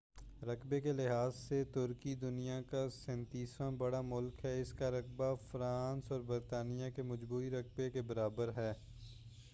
رقبہ کے لحاظ سے ترکی دنیا کا 37 واں بڑا ملک ہے اس کا رقبہ فرانس اور برطانیہ کے مجموعی رقبہ کے برابر ہے